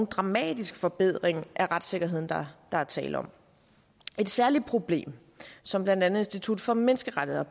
dramatisk forbedring af retssikkerheden der er tale om et særligt problem som blandt andet institut for menneskerettigheder